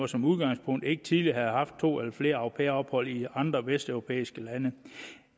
som udgangspunkt ikke tidligere må have haft to eller flere au pair ophold i andre vesteuropæiske lande